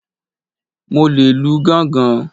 Mo le lu gángan.